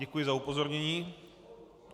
Děkuji za upozornění.